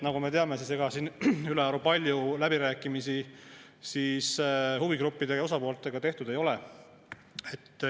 Nagu me teame, ega siin ülearu palju läbirääkimisi huvigruppide ja osapooltega tehtud ei ole.